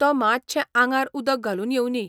तो मात्शें आंगार उदक घालून येवंदी.